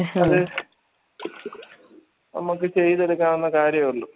അത് നമ്മക്ക് ചെയ്തത് കാണുന്ന കാര്യേ ഉള്ളൂ